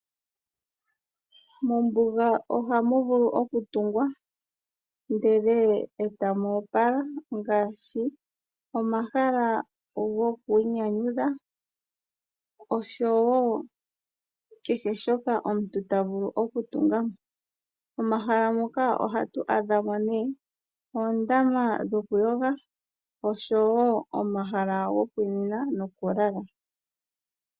Mombuga otamu vulu okutungwa ndele etamu opala ngaashi omahala goku inyanyudha osho wo kehe shoka omuntu tavulu okutunga. Momahala muka ohatu adhamo nee oondama dhokuyoga osho wo omahala gokunina nokulala.